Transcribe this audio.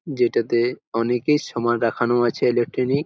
যেটাতে অনেকই সামান রাখান আছে ইলেক্ট্রনিক ।